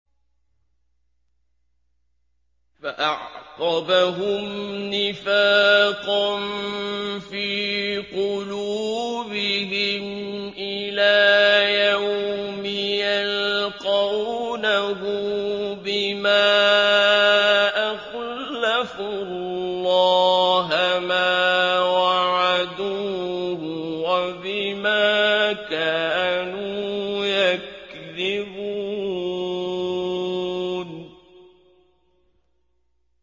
فَأَعْقَبَهُمْ نِفَاقًا فِي قُلُوبِهِمْ إِلَىٰ يَوْمِ يَلْقَوْنَهُ بِمَا أَخْلَفُوا اللَّهَ مَا وَعَدُوهُ وَبِمَا كَانُوا يَكْذِبُونَ